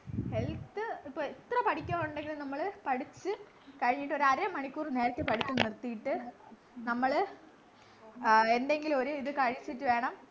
health ഇപ്പൊ എത്ര പഠിക്കാനുണ്ടെങ്കിലും നമ്മള് പഠിച്ചു കഴിഞ്ഞിട്ടൊരു അറ മണിക്കൂർ നേരത്തെ പഠിപ്പ് നിർത്തീട്ട് നമ്മള് ആഹ് എന്തെങ്കിലും ഒരു ഇത് കഴിച്ചിട്ട് വേണം